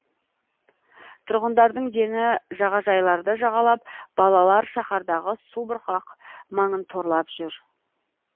тұрғындардың дені жағажайларды жағалап балалар шаһардағы субұрқақ маңын торлап жүр